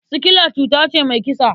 Sikila cuta ce mai kisa.